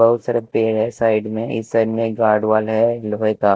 बहोत सारे पेड़ है साइड में इस साइड एक गार्ड वॉल है लोहे का।